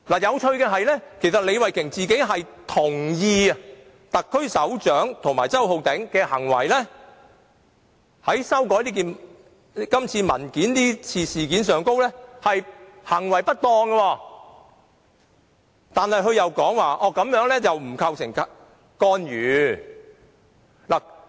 有趣的是，李慧琼議員本人亦同意特區首長及周浩鼎議員這次修改文件的行為不當，但她另一方面又說這做法並不構成干預。